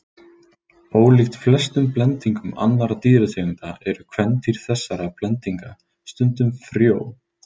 Ólíkt flestum blendingum annarra dýrategunda eru kvendýr þessara blendinga stundum frjó.